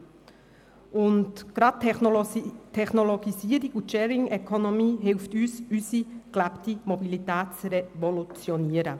Zudem helfen uns gerade die Technologisierung und die Sharing Economy, unsere gelebte Mobilität zu revolutionieren.